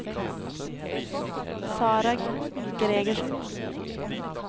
Sarah Gregersen